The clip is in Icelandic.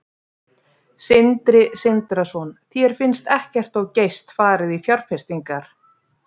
Sindri Sindrason: Þér finnst ekkert of geyst farið í fjárfestingar?